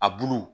A bulu